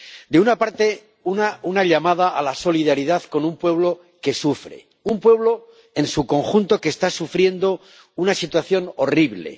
De una parte, una llamada a la solidaridad con un pueblo que sufre, un pueblo en su conjunto que está sufriendo una situación horrible.